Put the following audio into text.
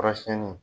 Kɔrɔsiyɛnni